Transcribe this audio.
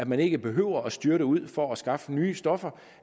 man ikke behøver at styrte ud for at skaffe nye stoffer